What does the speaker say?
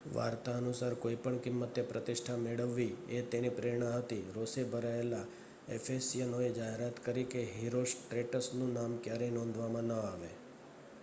વાર્તા અનુસાર કોઈપણ કિંમતે પ્રતિષ્ઠા મેળવવી એ તેની પ્રેરણા હતી રોષે ભરાયેલા એફેસિયનોએ જાહેરાત કરી કે હિરોસ્ટ્રેટસનું નામ ક્યારેય નોંધવામાં ન આવે